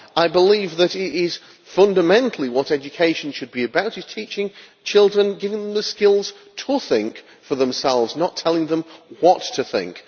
I believe that fundamentally, what education should be about is teaching children and giving them the skills to think for themselves, not telling them what to think.